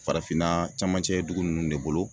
Farafinna camancɛ dugu ninnu de bolo